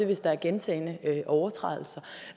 hvis der er gentagne overtrædelser